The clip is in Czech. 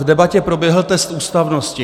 V debatě proběhl test ústavnosti.